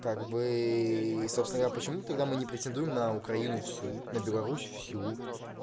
как бы собственно говоря почему тогда мы не претендуем на украину всю на беларусь всю